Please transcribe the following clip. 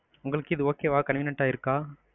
உங்களுக்கு இது okay வா, convenient ஆ இருக்கா?